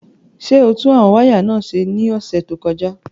Ṣé o tún àwọn wáyà náà ṣe ní ọ̀sẹ̀ tó kọjá?